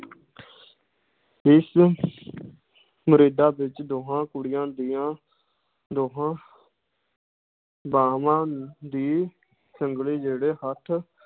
ਇਸ ਵਿੱਚ ਦੋਹਾਂ ਕੁੜੀਆਂ ਦੀਆਂ ਦੋਹਾਂ ਬਾਹਾਂ ਦੀ ਸੰਗਲੀ ਜਿਹੜੇ ਹੱਥ